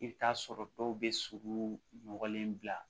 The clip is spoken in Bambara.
I bɛ t'a sɔrɔ dɔw bɛ sogo mɔgɔlen bila